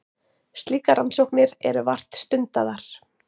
Slíkar rannsóknir eru vart stundaðar.